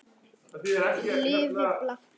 Lifi blakið!